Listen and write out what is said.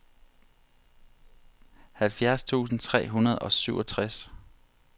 halvfjerds tusind tre hundrede og syvogtres